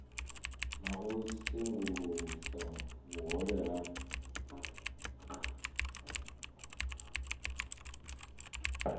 na u sengulusa vhuhole kana